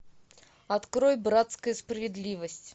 открой братская справедливость